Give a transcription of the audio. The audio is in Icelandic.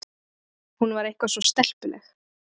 Hún var eitthvað svo stelpuleg.